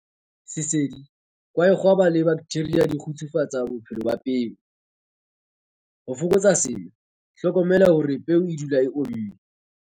Sesedi, kwaekgwaba le dibaktheria di kgutsufatsa bophelo ba peo. Ho fokotsa sena, hlokomela hore peo e dula e omme.